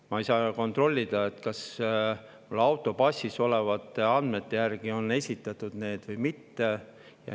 Ja ma ei saa kontrollida, kas see on esitatud auto passis olevate andmete järgi või mitte.